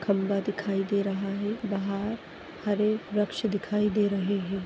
खंबा दिखाई दे रहा है वहा हरे वृक्ष दिखाई दे रहे है।